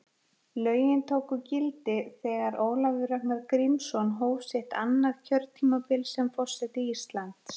Lögin tóku gildi þegar Ólafur Ragnar Grímsson hóf sitt annað kjörtímabil sem forseti Íslands.